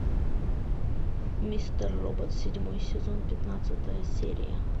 мистер робот седьмой сезон пятнадцатая серия